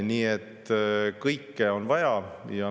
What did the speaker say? Nii et kõike on vaja.